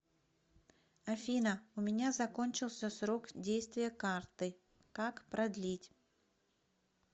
афина у меня закончился срок действия карты как продлить